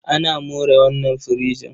Ana more wannan firijin.